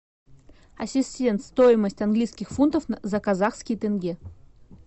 ассистент стоимость английских фунтов за казахские тенге